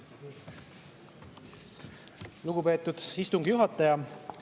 Lugupeetud istungi juhataja!